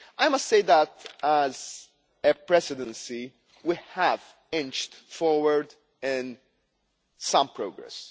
I must say that, as a Presidency, we have inched forward and made some progress.